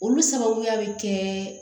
Olu sababuya bɛ kɛ